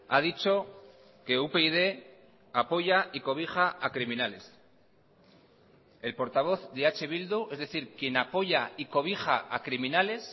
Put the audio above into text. ha dicho que upyd apoya y cobija a criminales el portavoz de eh bildu es decir quien apoya y cobija a criminales